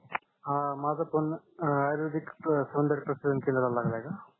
हा माझ फोन आयुर्वेदिक सौन्दर्य कस्टमर केरला लागला आहे का